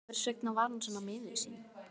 Hvers vegna var hann svona miður sín?